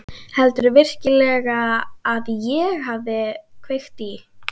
Heldurðu virkilega að ég hafi kveikt í?